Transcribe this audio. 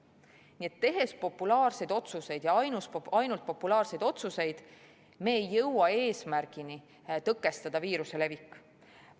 Nii et tehes populaarseid otsuseid ja ainult populaarseid otsuseid, ei jõua me eesmärgile tõkestada viiruse levikut.